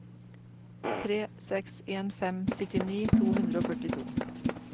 tre seks en fem syttini to hundre og førtito